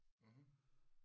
Mhm